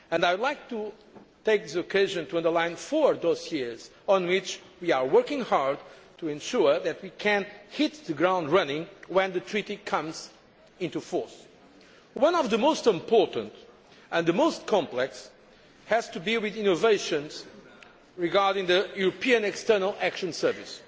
I would like to take this occasion to highlight four areas where we are working hard to ensure that we can hit the ground running when the Treaty comes into force. One of the most important and the most complex has to be the innovations regarding the European External Action Service.